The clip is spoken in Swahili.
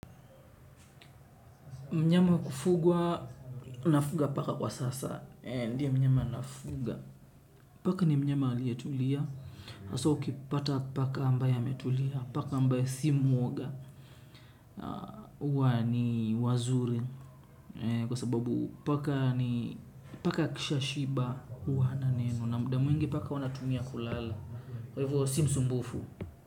Mnyama wa kufugwa, nafuga paka kwa sasa. Ndiyo mnyama nafuga. Paka ni mnyama aliyetulia. Haswa ukipata paka ambaye ametulia. Paka ambaye si mwoga. Huwa ni wazuri. Kwa sababu paka ni paka akishashiba. Huwa hana neno. Na muda mwingi paka huwa anatumia kulala. Kwa hivo si msumbufu.